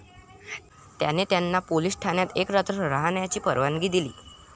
त्याने त्यांना पोलिस ठाण्यात एक रात्र राहण्याची परवानगी दिली.